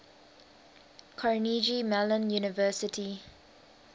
carnegie mellon university